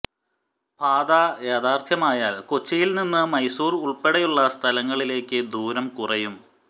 പാത യാഥാർത്ഥ്യമായാൽ കൊച്ചിയിൽ നിന്ന് മൈസൂർ ഉൾപ്പെടെയുള്ള സ്ഥലങ്ങളിലേക്ക് ദൂരം കുറയും